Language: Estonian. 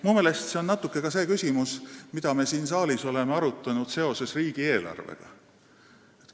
Minu meelest haakub see natuke selle küsimusega, mida me oleme siin saalis arutanud seoses riigieelarvega.